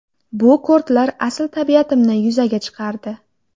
Bu kortlar asl tabiatimni yuzaga chiqardi.